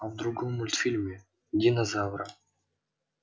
а в другом мультфильме динозавра